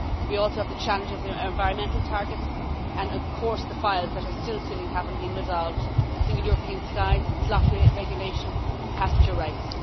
We also have the challenges of environmental targets and, of course, the files that are still sitting have not been resolved single European sky, slot regulation, passenger rights.